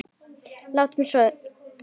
Og láttu svo sjá þig.